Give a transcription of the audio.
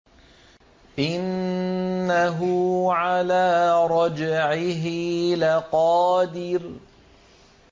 إِنَّهُ عَلَىٰ رَجْعِهِ لَقَادِرٌ